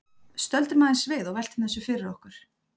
Stöldrum aðeins við og veltum þessu fyrir okkur.